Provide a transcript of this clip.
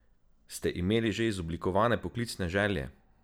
Ste imeli že izoblikovane poklicne želje?